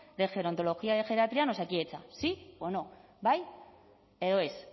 de gerontología de geriatría en osakidetza sí o no bai edo ez